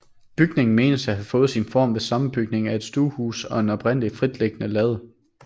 Bygningen menes at have fået sin form ved sammenbygning af et stuehus og en oprindeligt fritliggende lade